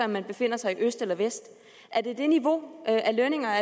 man befinder sig i øst eller vest er det det niveau af lønninger